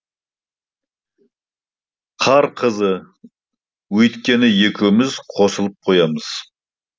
қар қызы өйткені екеуміз қосылып қоямыз